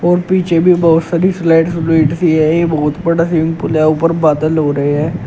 पीछे भी बहोत सारी स्लाइड स्लेड है यही बहुत बड़ा स्विमिंग पूल है ऊपर बादल हो रहे हैं।